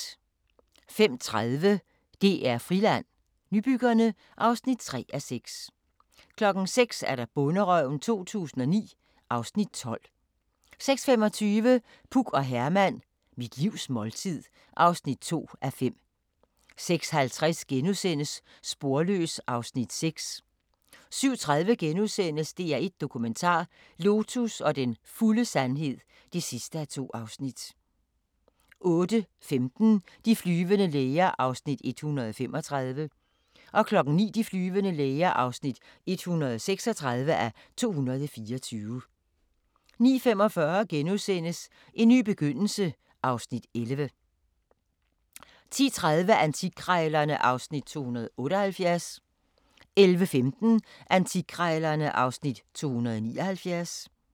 05:30: DR Friland: Nybyggerne (3:6) 06:00: Bonderøven 2009 (Afs. 12) 06:25: Puk og Herman – Mit livs måltid (2:5) 06:50: Sporløs (Afs. 6)* 07:30: DR1 Dokumentar: Lotus og den fulde sandhed (2:2)* 08:15: De flyvende læger (135:224) 09:00: De flyvende læger (136:224) 09:45: En ny begyndelse (Afs. 11)* 10:30: Antikkrejlerne (Afs. 278) 11:15: Antikkrejlerne (Afs. 279)